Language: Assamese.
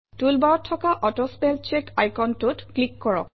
টুলবাৰত থকা অটো স্পেল চেক আইকনটোত ক্লিক কৰক